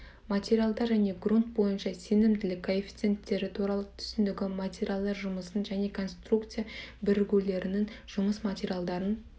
материал және грунт бойынша сенімділік коэффициенттері туралы түсінігі материалдар жұмысын және конструкция бірігулерінің жұмыс материалдарын